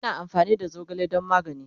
ana amfani da zogale dan magani